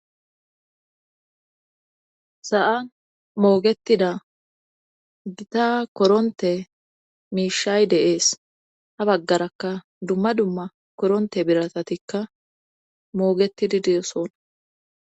sa7an moogetida gita koronte miishay deees ha baggarakka dumma dumma koronte biratatikka moogetidi de7osona